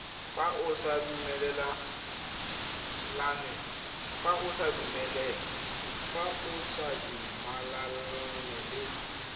fa o sa dumalane le